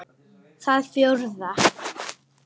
Það fjórða